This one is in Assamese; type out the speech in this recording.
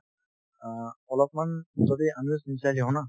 অ, অলপমান যদি আমিও sincerely হও না